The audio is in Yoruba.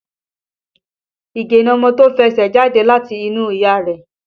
Ige ni ọmọ tí ó fẹsẹ̀ jáde láti inú ìyá rẹ̀